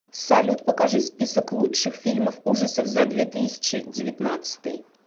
салют покажи список лучших фильмов ужасов за две тысячи девятнадцатый